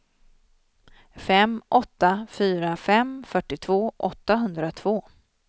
fem åtta fyra fem fyrtiotvå åttahundratvå